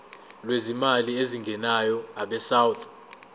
lwezimali ezingenayo abesouth